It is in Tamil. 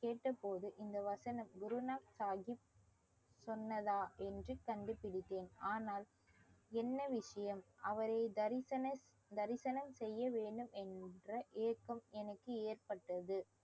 கேட்டபோது இந்த வசனம் குரு சாஹிப் சொன்னதா என்று கண்டுபிடித்தேன் ஆனால் என்ன விஷயம் அவரை தரிசனத் தரிசனம் செய்யவேண்டும் என்ற ஏக்கம் எனக்கு ஏற்பட்டது